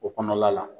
O kɔnɔna la